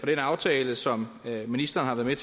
den aftale som ministeren har været